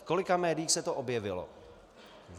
V kolika médiích se to objevilo?